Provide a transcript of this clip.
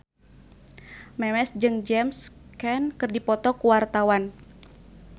Memes jeung James Caan keur dipoto ku wartawan